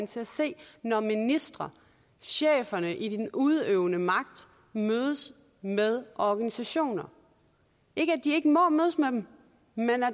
til at se når ministre cheferne i den udøvende magt mødes med organisationer ikke at de ikke må mødes med dem men